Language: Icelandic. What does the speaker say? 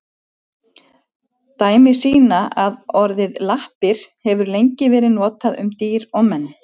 Dæmi sýna að orðið lappir hefur lengi verið notað um dýr og menn.